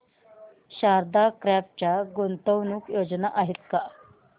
Sharda crop च्या गुंतवणूक योजना आहेत का